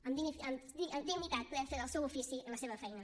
amb dignitat poder fer el seu ofici i la seva feina